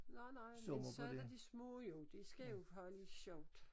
Nej nej men så der de små jo de skal jo have lidt sjovt